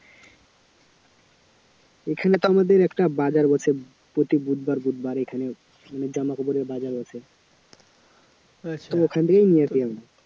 এখানে তো আমাদের একটা বাজার বসে প্রতি বুধবার বুধবার এখানে জামাকাপড়ের বাজার বসে ওখান থেকেই নিয়ে আসি